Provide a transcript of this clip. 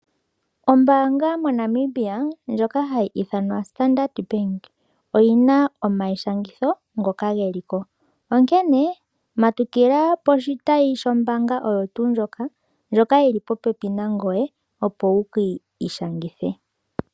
Ombaanga moNamibia ndjoka hayi ithanwa Standard Bank oyina omaishangitho ngoka geli ko onkene matukila poshitayi shombaanga oyo tuu ndjoka, ndjoka yili popepi nangoye opo wukiishangithe.